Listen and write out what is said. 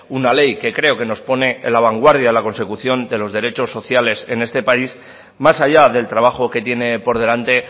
una ley que creo que nos pone en la vanguardia de la consecución de los derechos sociales de este país más allá del trabajo que tiene por delante